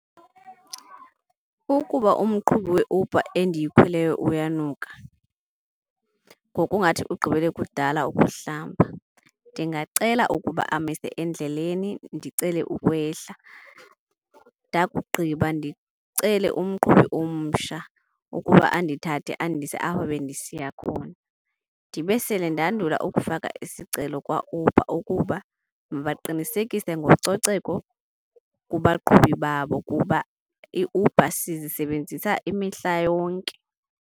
Ukuba umqhubi weUber endiyikhweleyo uyanuka ngokungathi ugqibele kudala ukuhlamba ndingacela ukuba amise endleleni ndicele ukwehla. Ndakugqiba ndicele umqhubi omsha ukuba andithathe andise apho bendisiya khona. Ndibe sele ndandule ukufaka isicelo kwaUber ukuba mabaqinisekise ngococeko kubaqhubi babo kuba iUber sizisebenzisa imihla yonke.